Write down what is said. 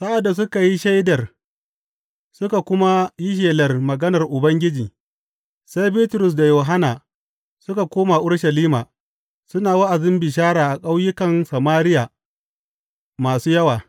Sa’ad da suka yi shaidar suka kuma yi shelar maganar Ubangiji, sai Bitrus da Yohanna suka koma Urushalima, suna wa’azin bishara a ƙauyukan Samariya masu yawa.